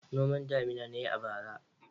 Noman damina na yi a bara.